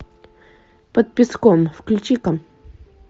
под песком включи ка